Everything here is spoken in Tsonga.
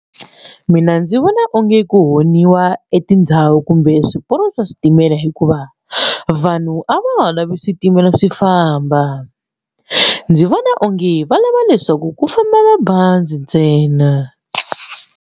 Mina ndzi vona onge ku onhiwa etindhawu kumbe swiporo swa switimela hikuva vanhu a va ha lavi switimela swi famba ndzi vona onge valava leswaku ku famba mabazi ntsena.